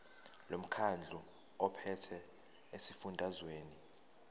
lomkhandlu ophethe esifundazweni